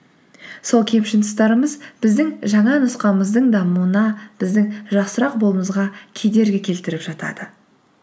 сол кемшін тұстарымыз біздің жаңа нұсқамыздың дамуына біздің жақсырақ болуымызға кедергі келтіріп жатады